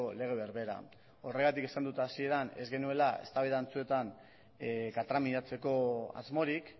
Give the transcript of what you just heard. lege berbera horregatik esan dut hasieran ez genuela eztabaida antzuetan katramilatzeko asmorik